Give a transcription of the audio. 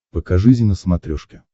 покажи зи на смотрешке